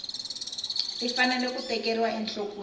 ti fanele ku tekeriwa enhlokweni